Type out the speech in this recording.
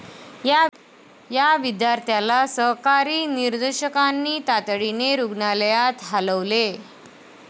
या विद्यार्थ्याला सहकारी निदर्शकांनी तातडीने रूग्णालयात हालवले.